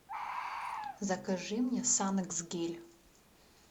закажи мне санокс гель